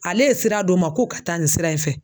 Ale ye sira d'o ma k'o ka taa nin sira in fɛ.